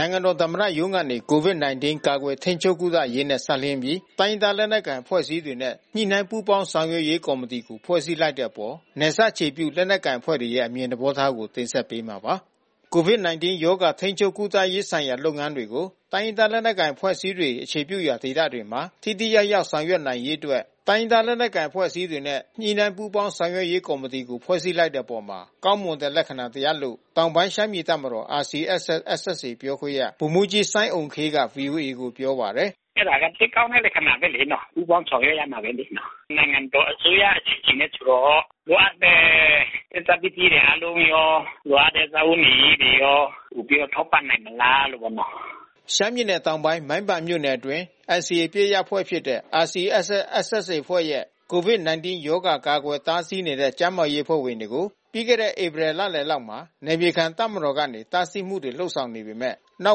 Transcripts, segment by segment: နိုင်ငံတော်သမ္မတရုံးကနေ COVID-19 ကာကွယ်ထိန်းချုပ်ကုသရေးနှင့် စပ်လျဉ်းပြီး တိုင်းရင်းသား လက်နက်ကိုင် အဖွဲ့အစည်းများနှင့် ညှိနှိုင်းပူးပေါင်းဆောင်ရွက်ရေးကော်မတီကို ဖွဲ့စည်းလိုက်တဲ့အပေါ် နယ်စပ်အခြေပြု လက်နက်ကိုင်အဖွဲ့တွေရဲ့ အမြင်သဘောထားကို ဗွီအိုအေမြန်မာပိုင်းသတင်းထောက် ကိုနိုင်ကွန်းအိန်က တင်ဆက်ပေးမှာပါ။ COVID-19 ကာကွယ်ထိန်းချုပ်ကုသရေးဆိုင်ရာ လုပ်ငန်းတွေကို တိုင်းရင်းသား လက်နက်ကိုင် အဖွဲ့အစည်းတွေ အခြေပြုရာဒေသတွေမှာ ထိထိရောက်ရောက် ဆောင်ရွက်နိုင်ရေးအတွက် တိုင်းရင်းသား လက်နက်ကိုင် အဖွဲ့ အစည်းများနှင့် ညှိနှိုင်းပူးပေါင်းဆောင်ရွက်ရေးကော်မတီကို ဖွဲ့စည်းလိုက်တဲ့အပေါ် ကောင်းမွန်တဲ့လက္ခဏာတရပ် လို့ တောင်ပိုင်းရှမ်းပြည်တပ်မတော် RCSS/SSA ပြောခွင့်ရ ဗိုလ်မှူးကြီးစိုင်းအုမ်ခေးက voa ကို ပြောပါတယ်။ “အဲတာက သိပ်ကောင်းတဲ့လက္ခဏာပဲလေနော်။ ပူးပေါင်းဆောင်ရွက်ရမှာပဲလေနော်။ နိုင်ငံတော်အစိုးရအစီစဉ်နဲ့ဆိုတော့ လိုအပ်တဲ့ ဆက်စပ်ပစ္စည်းတွေအားလုံးရော လိုအပ်တဲ့စားဝတ်နေရေးတွေရော ပိုပြီးတော့ထောက်ပံ့နိုင်မလားပေါ့နော်။ ရှမ်းပြည်နယ်တောင်ပိုင်း မိုင်းပန်မြို့နယ်အတွင်း NCA အပစ်ရပ် အဖွဲ့ဖြစ်တဲ့ RCSS/ SSA အဖွဲ့ရဲ့ COVID-19 ရောဂါ ကာကွယ်တားဆီးနေတဲ့ ကျန်းမာရေးအဖွဲ့ဝင်တွေကို ပြီးခဲ့တဲ့ဧပြီလလယ်လောက်မှာ နယ်မြေခံတပ်မတော်ကနေ တားဆီးမှုတွေလုပ်ဆောင်နေပေမဲ့ နော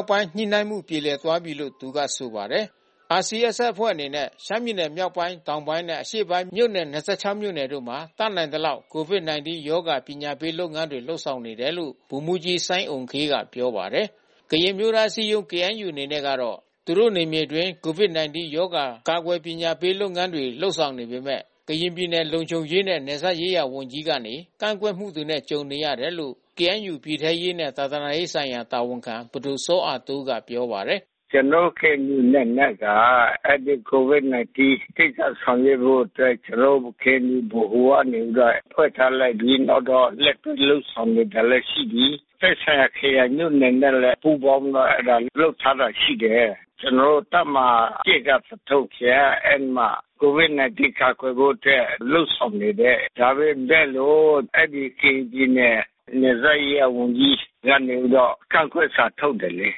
က်ပိုင်းညှိနှိုင်းမှု ပြေလည်သွားပြီးလို့ သူကဆိုပါတယ်။ RCSS အဖွဲ့အနေနဲ့ ရှမ်းပြည်နယ်မြောက်ပိုင်း တောင်ပိုင်းနဲ့ အရှေ့ပိုင်းမြို့နယ် ၂၆ မြို့နယ်မှာ တတ်နိုင်သလောက် COVID-19 ရောဂါကာကွယ်ပညာပေးလုပ်ငန်းတွေ လုပ်ဆောင်နေတယ်လို့ ဗိုလ်မှူးကြီးစိုင်းအုမ်ခေးက ပြောပါတယ်။ ကရင်အမျိုးသားအစည်းအရုံး KNU အနေနဲ့က သူတို့နယ်မြေဒေသအတွင်း COVID-19 ရောဂါကာကွယ်ပညာပေး လုပ်ငန်းတွေ လုပ်ဆောင်နေပေမဲ့ ကရင်ပြည်နယ် လုံခြုံရေးနှင့်နယ်စပ်ရေးရာဝန်ကြီးကနေ ကန့်ကွက်မှုနဲ့ ကြုံနေရတယ်လို့ KNU ပြည်ထဲရေးနှင့် သာသနာရေးဌာနတာဝန်ခံ ပဒိုစောအာတိုးက ပြောပါတယ်။ “ကျနော်တို့ KNU အနေနဲ့ အဲဒီ COVID-19 ကိစ္စဆောင်ရွက်ဖို့အတွက် ကျနော်တို့ KNU ဗဟိုကနေပြီးတော့ ဖွဲ့ထားလိုက်ပြီး နောက်ပြီးတော့ လက်တွဲလုပ်ဆောင်နေတာလည်း ရှိပြီ။ သက်ဆိုင်ရာ ခရိုင်မြို့နယ်နဲ့လည်း ပူးပေါင်းပြီးတော့ လုပ်ထားတာ ရှိတယ်။ ကျနော်တို့ တပ်မဟာ ၁ က သထုံခရိုင်က အဲဒီမှာ COVID-19 ကာကွယ်ဖို့အတွက် လုပ်ဆောင်နေတယ်။ ဒါပေမဲ့လို့ အဲဒီကရင်ပြည်နယ်နယ်စပ်ရေးရာ ဝန်ကြီးကနေပြီးတော့ ကန့်ကွက်စာထုတ်တယ်လေ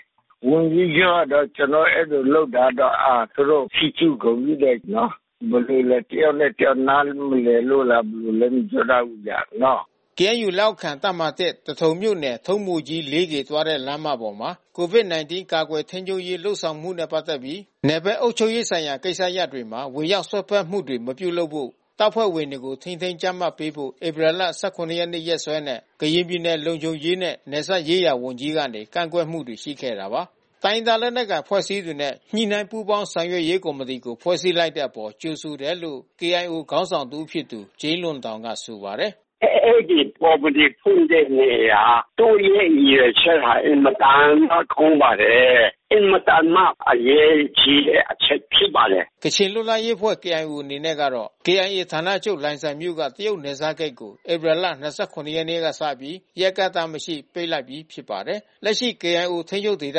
။ ဝန်ကြီးချုပ်ကတော့ ကျနော်တို့ အဲဒီလိုလုပ်တာတော့ သူတို့ ချီးကျူးဂုဏ်ပြုတယ်နော်။ ဘယ်လိုလဲ တယောက်နဲ့ တယောက်နားမလည်လို့လား ဘယ်လိုလဲမပြောတတ်ဘူးနော်။” KNU လက်အောက်ခံ တပ်မဟာ-၁ သထုံမြို့နယ် ထုံးဘိုကြီးလေးကေ သွားတဲ့ လမ်းမပေါ်မှာ COVID-19 ကာကွယ် ထိန်းချုပ်ရေး လုပ်ဆောင်ချက်နဲ့ ပတ်သက်ပြီး နယ်ဘက်အုပ်ချုပ်ရေးဆိုင်ရာ ဝင်ရောက်စွက်ဖက်မှုတွေ မပြုလုပ်ဖို့ တပ်ဖွဲ့ဝင်တွေကို ထိန်းသိမ်းကြပ် မတ်ပေးဖို့ ဧပြီ ၁၇ ရက် နေ့စွဲနဲ့ ကရင်ပြည်နယ် လုံခြုံရေးနှင့် နယ်စပ်ရေးရာဝန်ကြီးက ကန့်ကွက်မှုတွေရှိခဲ့ပါတယ်။ တိုင်းရင်းသား လက်နက်ကိုင် အဖွဲ့ အစည်းတွေနဲ့ ညှိနှိုင်းပူးပေါင်းဆောင်ရွက်ရေးကော်မတီကို ဖွဲ့စည်းလိုက်တဲ့ အပေါ် ကြိုဆိုတယ်လို့ KIO ခေါင်းဆောင်တဦးဖြစ်သူ ဂျိမ်းလွန်တောင်ကဆိုပါတယ်။ “အဲဒီကော်မီတီဖွဲ့တဲ့နေရာ သူ့ရဲ့ရည်ရွယ်ချက်က အင်မတန်မှ ကောင်းပါတယ်။ အင်မတန်မှအရေးကြီးတဲ့ အချက်ဖြစ်ပါတယ်။” ကချင်လွတ်လပ်ရေးအဖွဲ့ KIO အနေနဲ့ကတော့ KIA ဌာနချုပ် လိုင်ဇာမြို့က တရုတ်နယ်စပ်ဂိတ်ကို ဧပြီလ ၂၇ ရက်ကစပြီး ရက်အကန့်သတ် မရှိ ပိတ်လိုက်ပြီးဖြစ်ပါတယ်။ လက်ရှိ KIO ထိန်းချုပ်ဒေသ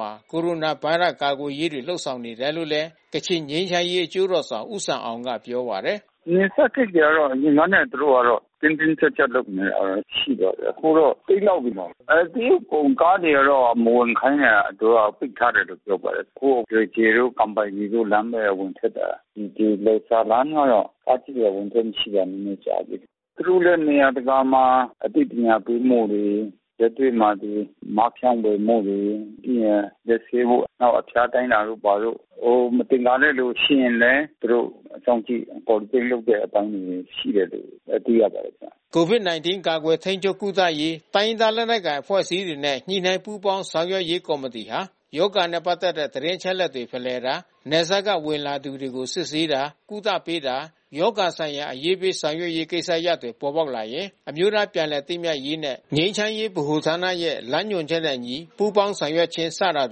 မှာ ကိုရိုနာဗိုင်းရပ်စ်ရောဂါ ကာကွယ်ရေးတွေလုပ်ဆောင်နေတယ်လို့ ကချင်ငြိမ်းချမ်းရေး အကျိုးတော်ဆောင် ဦးဆမ်အောင်ကပြောပါတယ်။ “နယ်စပ်ဂိတ်တွေကတော့ အရင်ကနဲ့သူတို့ကတော့ တင်းတင်းကြပ်ကြပ်လုပ်နေတာ ရှိပါတယ်။ အခုကတော့ ပိတ်လောက်ပြီ။ အဲတရုတ်ကုန်ကားတွေကတော့ သူတို့က မဝင်ခိုင်းတော့ပိတ်ထားတယ်လို့ပြောပါတယ်။ အခုလွယ်ကျယ်တို့ ကန်ပိုင်တီတို့ လမ်းပဲ ဝင်ထွက်နေတာ။ ဒီလိုင်ဇာလမ်းကတော့ ကားကြီးတွေဝင်ထွက် မရှိတာနည်းနည်းကြာပြီ။ သူတို့လဲ နေရာတကာမှာအသိပညာပေးမှုတွေ လက်တွေ့မှာ ဒီ မျက်နှာဖုံးဖြန့်ဝေမှုတွေ ပြီးရင်လက်ဆေးဖို့ နောက်အဖျားတိုင်း တာတို့ဘာတို့။ ဟိုမသင်္ကာတဲ့သူရှိရင်လည်း သူတို့စောင့်ကြည့် quarantine လုပ်တဲ့အပိုင်းတွေ ရှိတယ်လို့ သိရပါတယ် ခင်ဗျ။ COVID-19 ကာကွယ်ထိန်းချုပ်ကုသရေးတိုင်းရင်းသား လက်နက်ကိုင်အဖွဲ့အစည်းတွေနဲ့ ညှိနှိုင်းပူးပေါင်းဆောင်ရွက်ရေးကော်မတီဟာ ရောဂါနဲ့ ပက်သက်တဲ့ သတင်းချက်လက်ဖလှယ်တာ နယ်စပ်ကဝင်လာသူတွေကို စစ်ဆေးတာ ကုသပေးတာ ရောဂါဆိုင်ရာ အရေးပေးဆောင်ရွက်ရေးကိစ္စရပ်တွေ ပေါ်ပေါက်လာရင် အမျိုးသားပြန်လည် သင့်မြတ်ရေးနှင့် ငြိမ်းချမ်းရေးဗဟိုဌာနရဲ့ လမ်းညွန်ချက်နဲ့အညီ ပူးပေါင်းဆောင်ရွက်ခြင်း စတာ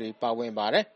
တွေ ပါဝင်ပါတယ်။